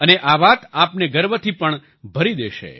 અને આ વાત આપને ગર્વથી પણ ભરી દેશે